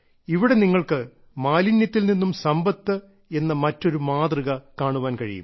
ഇവിടെ നിങ്ങൾക്ക് മാലിന്യത്തിൽ നിന്നും സമ്പത്ത് എന്ന മറ്റൊരു മാതൃക കാണുവാൻ കഴിയും